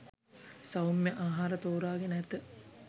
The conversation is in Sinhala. සෞම්‍ය ආහාර තෝරා ගෙන ඇත